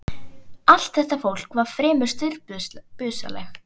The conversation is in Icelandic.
Allt þetta fólk var fremur stirðbusalegt.